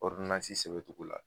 sɛbɛncogo la